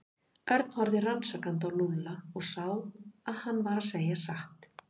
Örn horfði rannsakandi á Lúlla og sá að hann var að segja satt.